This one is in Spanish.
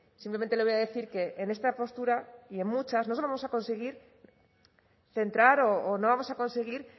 simplemente le voy a decir que en esta postura y en muchas no vamos a conseguir centrar o no vamos a conseguir